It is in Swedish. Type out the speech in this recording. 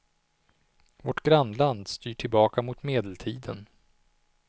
Vårt grannland styr tillbaka mot medeltiden.